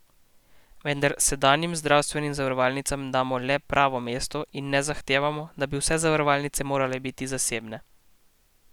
Vendar sedanjim zdravstvenim zavarovalnicam damo le pravo mesto in ne zahtevamo, da bi vse zavarovalnice morale biti zasebne.